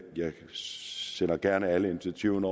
jeg sender gerne alle initiativerne